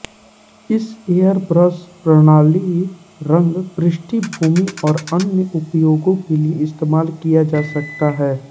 इस एयरब्रश प्रणाली रंग पृष्ठभूमि और अन्य उपयोगों के लिए इस्तेमाल किया जा सकता है